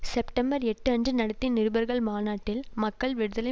September எட்டு அன்று நடத்திய நிருபர்கள் மாநாட்டில் மக்கள் விடுதலை